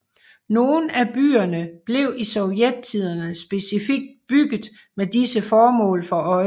Nogen af byerne blev i Sovjettiden specifikt bygget med disse formål for øje